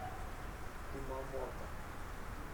кумамото